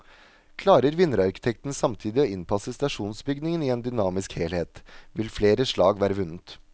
Klarer vinnerarkitekten samtidig å innpasse stasjonsbygningen i en dynamisk helhet, vil flere slag være vunnet.